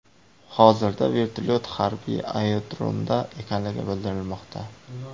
Hozirda vertolyot harbiy aerodromda ekanligi bildirilmoqda.